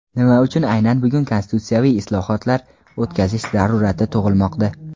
Nima uchun aynan bugun konstitutsiyaviy islohotlar o‘tkazish zarurati tug‘ilmoqda?.